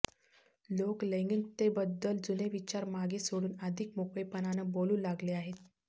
लोक लैंगिकतेबद्दल जुने विचार मागे सोडून अधिक मोकळेपणानं बोलू लागले आहेत